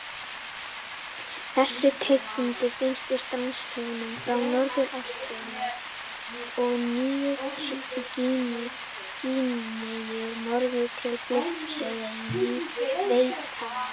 Þessi tegund finnst í strandsjónum frá norðurhluta Ástralíu og Nýju-Gíneu norður til Filippseyja og Víetnam.